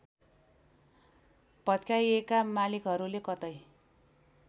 भत्काइएका मालिकहरूले कतै